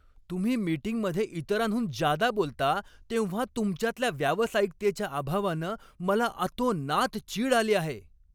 तुम्ही मिटिंगमध्ये इतरांहून जादा बोलता तेव्हा तुमच्यातल्या व्यावसायिकतेच्या अभावानं मला अतोनात चीड आली आहे.